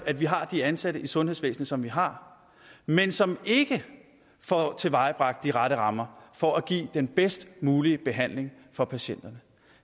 at vi har de ansatte i sundhedsvæsenet som vi har men som ikke får tilvejebragt de rette rammer for at give den bedst mulige behandling for patienterne